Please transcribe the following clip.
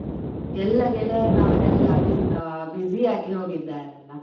ಎಲ್ಲಾ ಗೆಳೆಯರ್ ನವರೆಲ್ಲ ಆ busy ಆಗಿ ಹೋಗಿದ್ದಾರೆ ಅಲ್ಲ.